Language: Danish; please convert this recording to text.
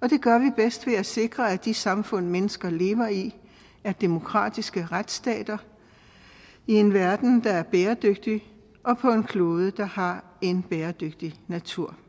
og det gør vi bedst ved at sikre at de samfund mennesker lever i er demokratiske retsstater i en verden der er bæredygtig og på en klode der har en bæredygtig natur